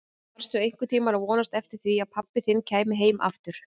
Varstu einhvern tíma að vonast eftir því að pabbi þinn kæmi heim aftur?